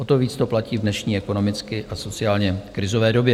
O to víc to platí v dnešní ekonomicky a sociálně krizové době.